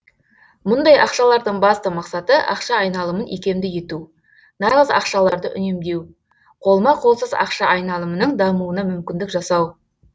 мұндай ақшалардың басты мақсаты ақша айналымын икемді ету нағыз ақшаларды үнемдеу қолма қолсыз ақша айналымының дамуына мүмкіндік жасау